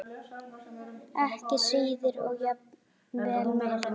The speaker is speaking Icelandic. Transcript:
Ekki síður og jafnvel meira.